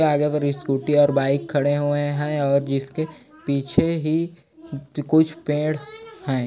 आगे पर स्कूटी और बाइक खड़े हुए है और जिसके पीछे ही कुछ पेड़ है।